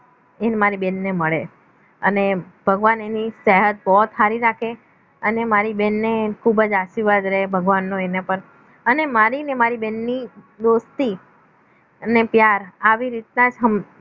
એને મારી બહેનને મળે અને ભગવાન એની સહેદ પોહેદ હારી રાખે અને મારી બેનને ખૂબ જ આશીર્વાદ દે ભગવાનનો એના પર અને મારી અને મારી બહેનને દોસ્તી અને પ્યાર આવી રીતના જ થમ